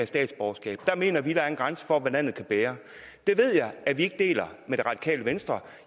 statsborgerskab der mener vi der er en grænse for hvad landet kan bære det ved jeg at vi ikke deler med det radikale venstre